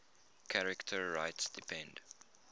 charter rights depend